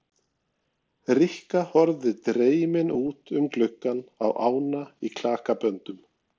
Rikka horfði dreymin út um gluggann á ána í klakaböndum.